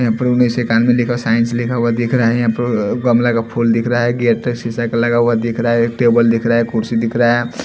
यहाँ पर उन्नीस सौ इकानवे लिखा औ साइंस लिखा हुआ दिख रहा है यहाँ पर गमले का फूल दिख रहा एक गेट सीसा का लगा हुआ दिख रहा है टेबल दिख रहा कुर्सी रहा है।